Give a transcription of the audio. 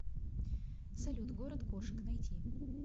салют город кошек найти